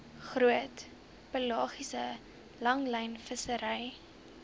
groot pelagiese langlynvissery